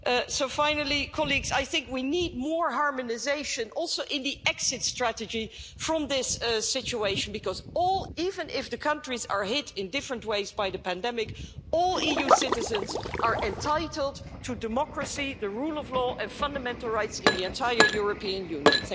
So finally, I think we need more harmonisation, also in the exit strategy from this situation, because even if the countries are hit in different ways by the pandemic, all EU citizens are entitled to democracy, the rule of law and fundamental rights in the entire European Union.